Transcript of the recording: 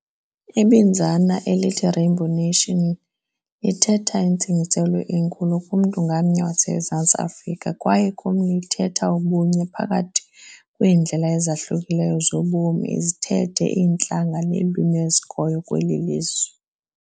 Ibinzana elithi Rainbow Nation lithetha intsingiselo enkulu kumntu ngamnye waseMzantsi Afrika kwaye komnye lithetha ubunye phakathi kweendlela ezahlukileyo zobomi, izithethe, iintlanga neelwimi ezikhoyo kweli lizwe.